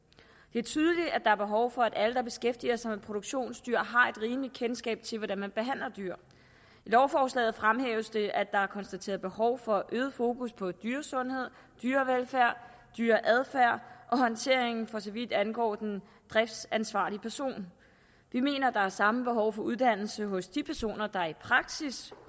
det er tydeligt at der er behov for at alle der beskæftiger sig med produktionsdyr har et rimeligt kendskab til hvordan man behandler dyr i lovforslaget fremhæves det at der er konstateret behov for øget fokus på dyresundhed dyrevelfærd dyreadfærd og håndtering for så vidt angår den driftsansvarlige person vi mener at der er samme behov for uddannelse hos de personer der i praksis